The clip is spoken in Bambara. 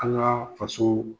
An' ŋaa fasoo